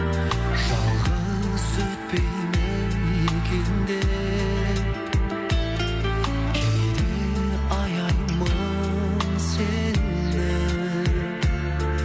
жалғыз өтпей ме екен деп кейде аяймын сені